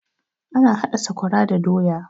Ana haɗa sakwara da doya